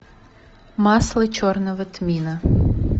масло черного тмина